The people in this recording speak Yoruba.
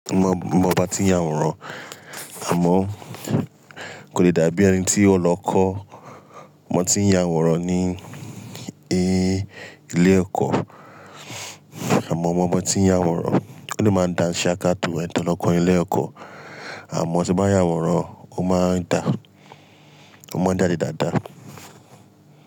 Mo mọ bi a tí ń yàwòrán, àmọ́ kò le dàbí ẹni tí ó lọ kọ́ bi a tí ń yàwòrán ní ilé ẹ̀kọ́. Àmọ́ ọmọ tí ń yàwòrán kò ní máa dá ṣẹ́ akátú ẹni tó lọ kọ́ ilé ẹ̀kọ́. Àmọ́ ṣé bá yàwòrán, ó máa ń dá, ó máa ń dáa ní dáadáa.